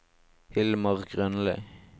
Hilmar Grønli